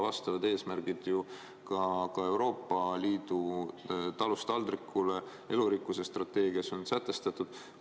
Vastavad eesmärgid on juba ka Euroopa Liidu "Talust taldrikule" ja elurikkuse strateegias sätestatud.